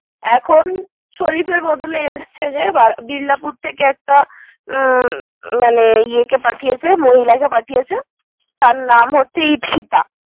এখন শরিফের বদলে এসছে যে বিল্লাপুর থেকে হুম মানে একটা মহিলা পাঠিয়েছে। তার নামে হচ্ছে ইথিতা।